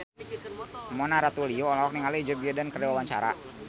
Mona Ratuliu olohok ningali Joe Biden keur diwawancara